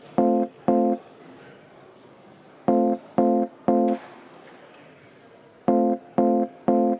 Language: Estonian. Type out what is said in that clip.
Palun võtta seisukoht ja hääletada!